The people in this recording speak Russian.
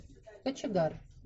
кочегар